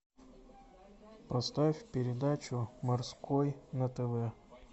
поставь передачу морской на тв